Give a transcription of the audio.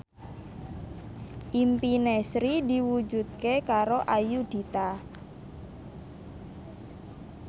impine Sri diwujudke karo Ayudhita